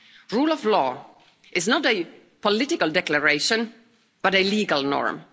Rule of law is not a political declaration but a legal norm.